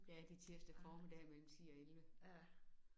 Ja det tirsdag formiddag mellem 10 og 11